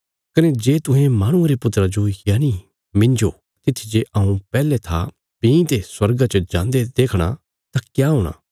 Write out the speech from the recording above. कने जे तुहें माहणुये रे पुत्रा जो यनि मिन्जो तित्थी जे हऊँ पैहले था भीं ते स्वर्गा च जान्दे देखणा तां क्या हूणा